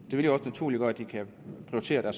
vil jo også naturligt gøre at de kan prioritere